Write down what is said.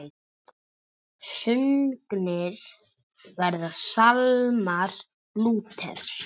Sungnir verða sálmar Lúters.